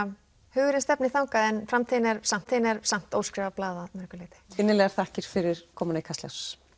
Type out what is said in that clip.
hugurinn stefnir þangað en framtíðin er samt er samt óskrifað blað að mörgu leyti innilegar þakkir fyrir komuna í Kastljós